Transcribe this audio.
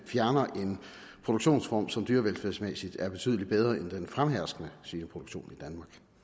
fjerner en produktionsform som dyrevelfærdsmæssigt er betydelig bedre end den fremherskende svineproduktionsform